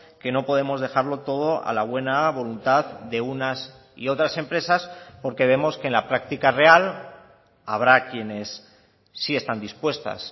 que no podemos dejarlo todo a la buena voluntad de unas y otras empresas porque vemos que en la práctica real habrá quienes sí están dispuestas